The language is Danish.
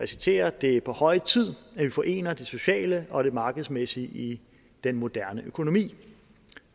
citerer det er på høje tid at vi forener det sociale og det markedsmæssige i den moderne økonomi